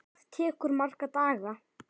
Það tekur marga daga!